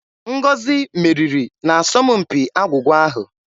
Ngozi meriri n'asọmpi agwụgwa ahụ.